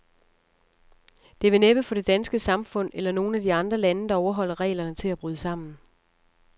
Det vil næppe få det danske samfund, eller nogen af de andre lande, der overholder reglerne, til at bryde sammen.